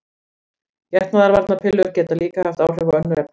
Getnaðarvarnarpillur geta líka haft áhrif á önnur efni.